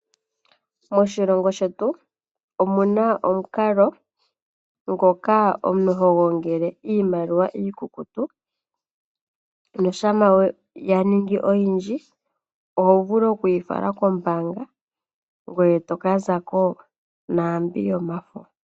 Moshilongo shetu omu na omukalo ngoka omuntu ho gongele iimaliwa iikukutu nuuna ya ninga oyindji, oho vulu oku yi fala kombaanga ngoye toka zako naambi yomafo.